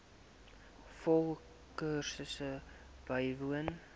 volle kursus bywoon